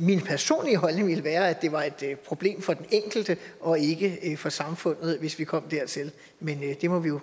min personlige holdning ville være at det var et problem for den enkelte og ikke ikke for samfundet hvis vi kom dertil men det må vi jo